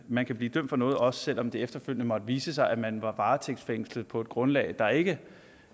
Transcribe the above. man kan blive dømt for noget også selv om det efterfølgende måtte vise sig at man var varetægtsfængslet på et grundlag der ikke